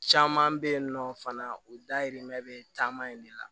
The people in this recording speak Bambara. Caman bɛ yen nɔ fana o dayirimɛ bɛ caman in de la